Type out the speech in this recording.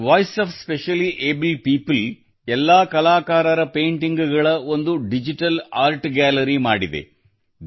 voice of specially abled people ನ ಎಲ್ಲಾ ಕಲಾಕಾರರ ಪೇಂಟಿಂಗ್ ಗಳ ಒಂದು ಡಿಜಿಟಲ್ ಆರ್ಟ್ ಗ್ಯಾಲರಿ ಮಾಡಲಾಗಿದೆ